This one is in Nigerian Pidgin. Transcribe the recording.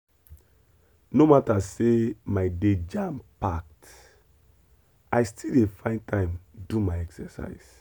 no matter say my day jam-packed i dey still find time do my exercise.